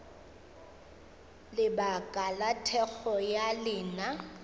lebaka la thekgo ya lena